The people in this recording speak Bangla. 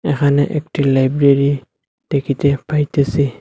এখানে একটি লাইব্রেরী দেখিতে পাইতেসি।